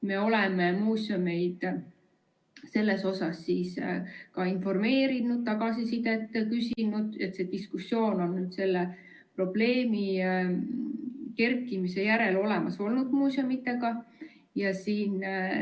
Me oleme muuseumeid sellest ka informeerinud, tagasisidet küsinud ja probleemi kerkimise järel on see diskussioon muuseumidega olnud.